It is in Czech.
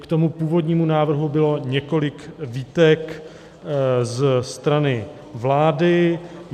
K tomu původnímu návrhu bylo několik výtek ze strany vlády.